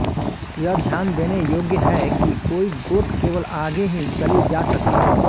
यह ध्यान देने योग्य है कि कोई गोट केवल आगे ही चली जा सकती है